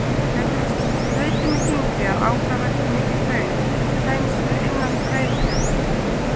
Það gæti reynst þrautin þyngri að ákvarða hve mikið hraun kæmist fyrir innan Reyðarfjarðar.